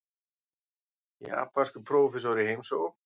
Japanskur prófessor í heimsókn.